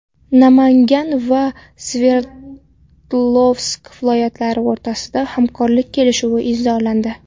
Namangan va Sverdlovsk viloyatlari o‘rtasida hamkorlik kelishuvi imzolandi.